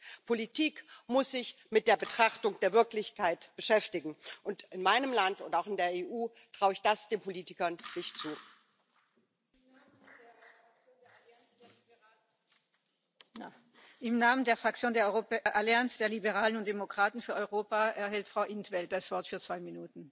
Lo que de entrada no tiene que hacer es mandar recomendaciones específicas a países como España, criticando ínfimas y muy escasas subidas de pensiones cuando ha habido reformas sucesivas en el año 2011 y 2013 para recortarlas aún más. Por lo tanto, reforzar el pilar I y atajar sobre todo la precariedad en el mercado laboral para tener buenas cotizaciones a la Seguridad Social eso es lo que debe hacer la Unión Europea para tener pensiones dignas ahora y en el futuro.